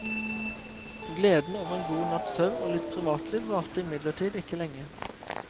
Gleden over en god natts søvn og litt privatliv varte imidlertid ikke lenge.